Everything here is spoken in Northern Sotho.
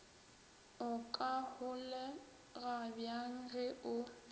o ka holegabjang ge o